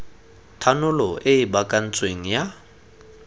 thanolo e e baakantsweng ya